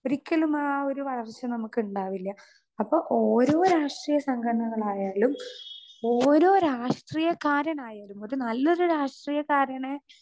Speaker 2 ഒരിക്കലും ആ ഒരു വളർച്ച നമുക്ക് ഉണ്ടാവില്ല. അപ്പോ ഓരോ രാഷ്ട്രീയ സംഘടനകൾ ആയാലും ഓരോ രാഷ്ട്രീയക്കാരനായാലും ഒരു നല്ലൊരു രാഷ്ട്രീയക്കാരന്